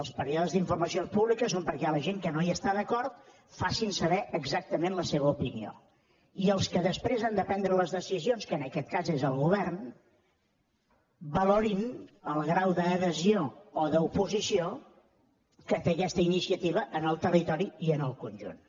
els períodes d’informació pública són perquè la gent que no hi està d’acord facin saber exactament la seva opinió i els que després han de prendre les decisions que en aquest cas és el govern valorin el grau d’adhesió o d’oposició que té aquesta iniciativa en el territori i en el conjunt